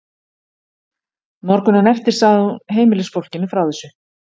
Morguninn eftir sagði hún heimilisfólkinu frá þessu.